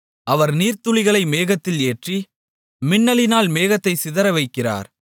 அவர் நீர்த்துளிகளை மேகத்தில் ஏற்றி மின்னலினால் மேகத்தைச் சிதறவைக்கிறார்